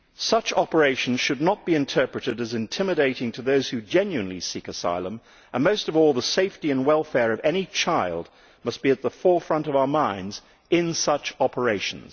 Such operations should not be interpreted as intimidating to those who genuinely seek asylum and, most of all, the safety and welfare of any child must be at the forefront of our minds in such operations.